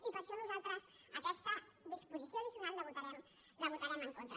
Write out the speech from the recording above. i per això nosaltres aquesta disposició addicional la votarem en contra